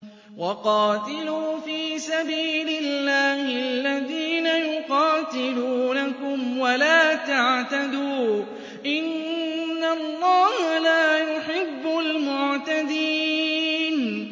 وَقَاتِلُوا فِي سَبِيلِ اللَّهِ الَّذِينَ يُقَاتِلُونَكُمْ وَلَا تَعْتَدُوا ۚ إِنَّ اللَّهَ لَا يُحِبُّ الْمُعْتَدِينَ